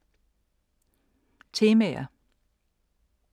Temaer